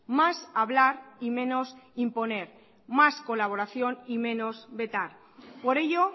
más hablar y menos imponer más colaboración y menos vetar por ello